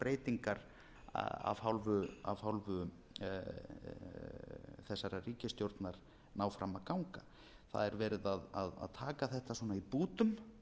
breytingar af hálfu þessarar ríkisstjórnar ná fram að ganga það er verið að taka þetta í bútum